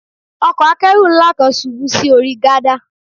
Ọkọ̀ Akẹ́rù ńlá kan ṣubú sí orí gádà